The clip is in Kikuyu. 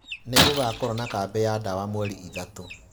Nĩgũgakorwo na kambĩ ya ndawa mweri ithatu.